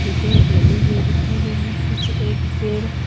ए paint लगे हुए दिखाई दे रहे हैं पीछे एक पेड़--